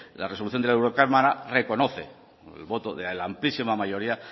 la resolución de la eurocámara reconoce el voto de la amplísima mayoría